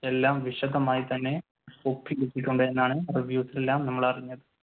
എല്ലാം വിശദമായി തന്നെ ഉണ്ടെന്നാണ് reviews എല്ലാം നമ്മളെ